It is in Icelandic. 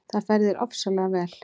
Það fer þér ofsalega vel!